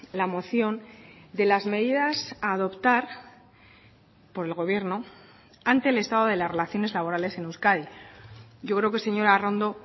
la moción de las medidas a adoptar por el gobierno ante el estado de las relaciones laborales en euskadi yo creo que señora arrondo